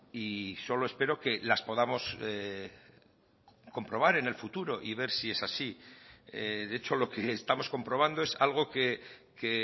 y solo espero que las podamos comprobar en el futuro y ver si es así de hecho lo que estamos comprobando es algo que